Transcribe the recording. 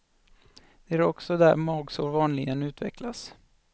Det är också där magsår vanligen utvecklas.